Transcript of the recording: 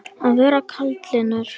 Að vera kaldlyndur